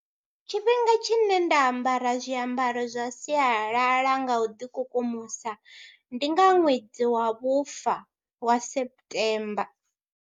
Tshifhinga tshine nda ambara zwiambaro zwa sialala nga u ḓikukumusa ndi nga ṅwedzi wa vhufa wa September.